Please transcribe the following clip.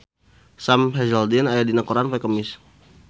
Sam Hazeldine aya dina koran poe Kemis